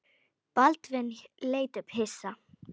Baldvin leit upp hissa.